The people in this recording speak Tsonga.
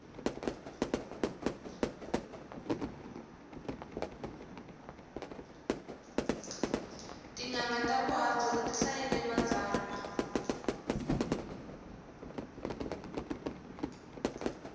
tinanga ta vuhandzuri ti hlayile matsalwa